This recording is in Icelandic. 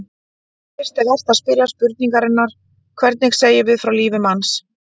Fyrst er vert að spyrja spurningarinnar: hvernig segjum við frá lífi manns?